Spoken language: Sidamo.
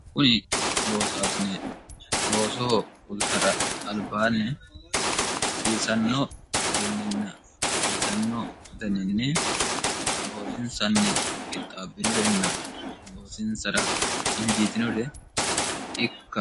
kuni loosaasine loosoho hultara albaanni hasiisannoo garinninna hasiisannoo ganiinni loosinsanni qixxaabbinurenna goosinsara hinjiitinurei